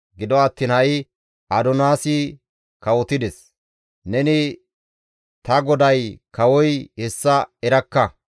Gido attiin ha7i Adoniyaasi kawotides; neni ta goday kawoy hessa erakka.